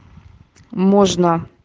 можно